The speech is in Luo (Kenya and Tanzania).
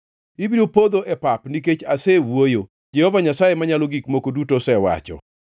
Ibiro podho e pap, nikech asewuoyo, Jehova Nyasaye Manyalo Gik Moko Duto osewacho.